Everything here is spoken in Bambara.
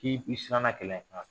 K'i bi i siranna kɛlɛ